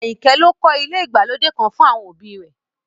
Àyìnkẹ́ ló kọ́ ilé ìgbàlódé kan fún àwọn òbí i rẹ̀